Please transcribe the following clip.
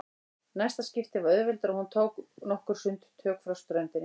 Næsta skipti var auðveldara og hún tók nokkur sundtök frá ströndinni.